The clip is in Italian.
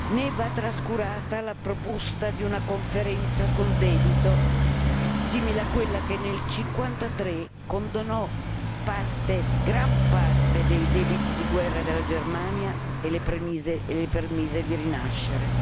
Né va trascurata la proposta di una conferenza sul debito, simile a quella che nel '53 condonò gran parte dei debiti di guerra della Germania e le permise di rinascere.